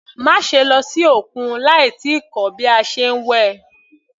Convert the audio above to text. Má ṣe lọ sí òkun láì tíì kọ́ bí a ṣe ń wẹ̀.